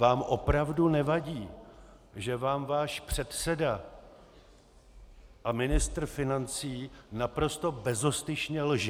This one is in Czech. Vám opravdu nevadí, že vám váš předseda a ministr financí naprosto bezostyšně lže?